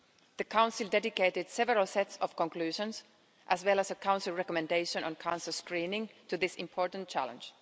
The Council dedicated several sets of conclusions, as well as a Council recommendation on cancer screening, to this important challenge.